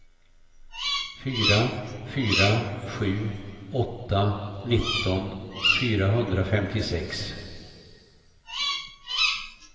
fyra fyra sju åtta nitton fyrahundrafemtiosex